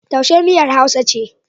Taushe miyar Hausa ce.